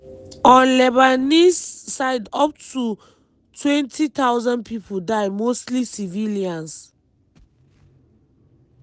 on lebanese side up to 20000 pipo die mostly civilians.